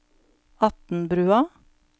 Atnbrua